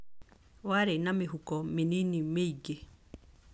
Warĩ na mĩhuko mĩnini mĩingĩ.